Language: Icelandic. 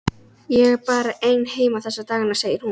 Ég er bara ein heima þessa dagana, segir hún.